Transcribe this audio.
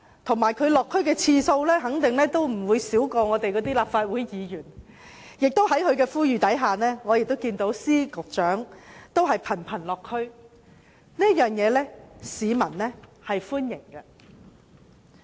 她落區的次數肯定不會比立法會議員少，而且在她呼籲下，司局長也頻頻落區，市民對此表示歡迎。